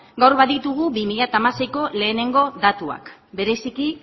gaur baditugu bi mila hamaseiko lehenengo datuak bereziki